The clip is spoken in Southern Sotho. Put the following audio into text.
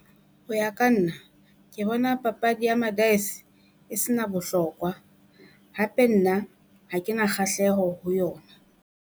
Ho ya ka nna ke bona papadi ya ma-dise e se na bohlokwa hape nna ha ke na kgahleho ho yona.